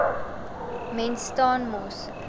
mens staan mos